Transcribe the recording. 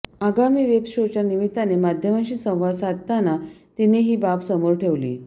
आगामी वेब शोच्या निमित्ताने माध्यमांशी संवाद साधताना तिने ही बाब समोर ठेवली